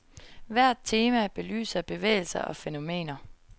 Hvert tema belyser bevægelser og fænomener.